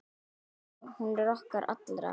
Já, hún er okkar allra.